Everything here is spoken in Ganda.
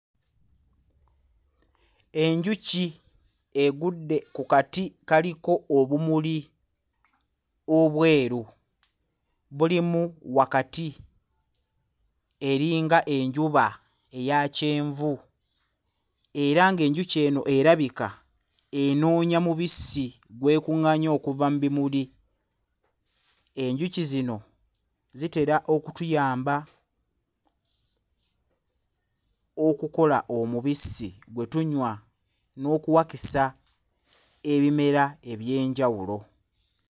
Enjuki egudde ku kati kaliko obumuli obweru bulimu wakati eringa enjuba eya kyenvu era ng'enjuki eno erabika enoonya mubisi gw'ekuᵑᵑaanya okuva mu bimuli enjuki zino zitera okutuyamba okukola omubisi gwe tunywa n'okuwakisa ebimera eby'enjawulo.